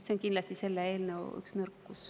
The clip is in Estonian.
See on kindlasti selle eelnõu üks nõrkus.